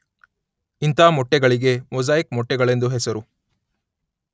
ಇಂಥ ಮೊಟ್ಟೆಗಳಿಗೆ ಮೊಸಾಯಿಕ್ ಮೊಟ್ಟೆಗಳೆಂದು ಹೆಸರು.